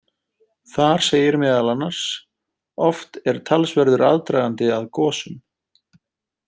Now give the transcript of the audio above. Þar segir meðal annars: Oft er talsverður aðdragandi að gosum.